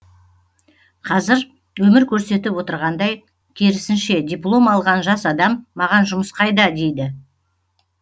қазір өмір көрсетіп отырғандай керісінше диплом алған жас адам маған жұмыс қайда дейді